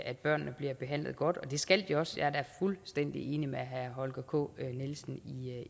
at børnene bliver behandlet godt og det skal de også jeg er da fuldstændig enig med herre holger k nielsen